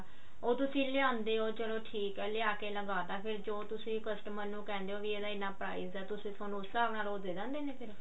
ਉਹ ਤੁਸੀਂ ਲਿਆਉਂਦੇ ਹੋ ਚਲੋ ਠੀਕ ਹੈ ਲਿਆ ਕਿ ਲਗਾਤਾ ਫ਼ੇਰ ਜੋ ਤੁਸੀਂ customer ਨੂੰ ਕਹਿੰਦੇ ਹੋ ਵੀ ਇਹਦਾ ਇੰਨਾ price ਹੈ ਤੁਸੀਂ ਉਸ ਹਿਸਾਬ ਉਹ ਥੋਨੂੰ ਦੇ ਦਿੰਦੇ ਨੇ